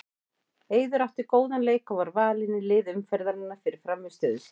Eiður átti góðan leik og var valinn í lið umferðarinnar fyrir frammistöðu sína.